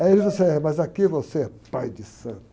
Aí ele disse é, mas aqui você é pai de santo.